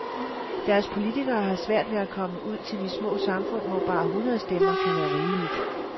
Deres politikere har svært ved at komme ud til de små samfund hvor bare hundrede stemmer kan være rigeligt.